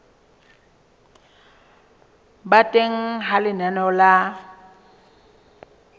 ba teng ha lenaneo la